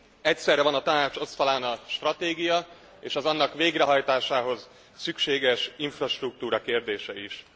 Egyszerre van a Tanács asztalán a stratégia és az annak végrehajtásához szükséges infrastruktúra kérdése is.